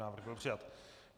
Návrh byl přijat.